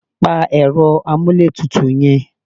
Pa ẹ̀rọ amúlétutù yẹn!